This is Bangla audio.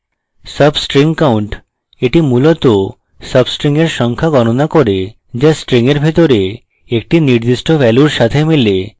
substring count এটি মূলত substring sub সংখ্যা গণনা করে যা string sub ভিতরে একটি নির্দিষ্ট ভ্যালুর সাথে মেলে